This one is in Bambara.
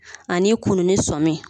Ani kununi sɔmi